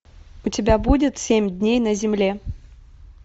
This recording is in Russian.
у тебя будет семь дней на земле